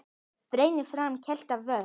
Berið fram kalt eða volgt.